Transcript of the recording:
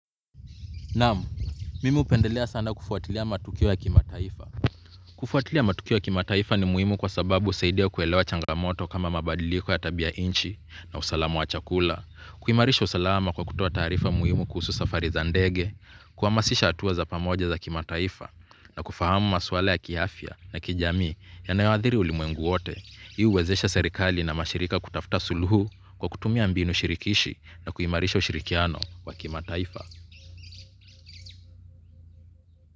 Naam, mimi upendelea sana kufuatilia matukio ya kimataifa. Kufuatilia matukio ya kimataifa ni muhimu kwa sababu usaidia kuelewa changamoto kama mabadiliko ya tabia inchi na usalamu wa chakula. Kuimarisha usalama kwa kutoa taarifa muhimu kuhusu safari za ndege kuamasisha atua za pamoja za kimataifa na kufahamu maswala ya kiafya na kijami ya nayoadhiri ulimwengu wote. Hii huwezesha serikali na mashirika kutafta suluhu kwa kutumia mbinu shirikishi na kuimarisha ushirikiano wa kimataifa.